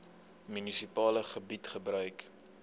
munisipale gebied gebruik